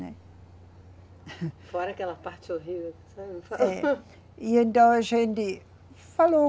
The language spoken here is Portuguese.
Né. Fora aquela parte horrível que. E então a gente falou.